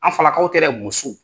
An falakaw tɛ dɛ musow.